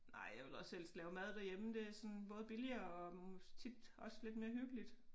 Nej jeg vil også helst lave mad derhjemme det er sådan både billigere og tit også lidt mere hyggeligt